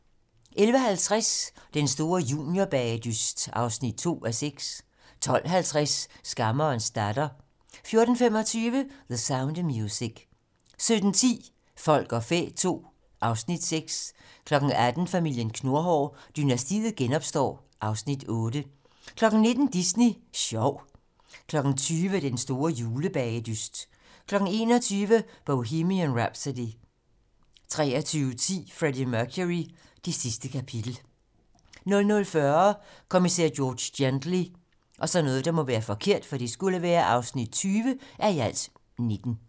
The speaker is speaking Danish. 11:50: Den store juniorbagedyst (2:6) 12:50: Skammerens datter 14:25: The Sound of Music 17:10: Folk og fæ II (Afs. 6) 18:00: Familien Knurhår: Dynastiet genopstår (Afs. 8) 19:00: Disney Sjov 20:00: Den store julebagedyst 21:00: Bohemian Rhapsody 23:10: Freddie Mercury: Det sidste kapitel 00:40: Kommissær George Gently (20:19)